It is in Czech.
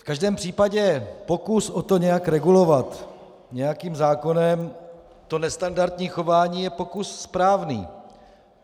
V každém případě pokus o to, nějak regulovat nějakým zákonem to nestandardní chování, je pokus správný.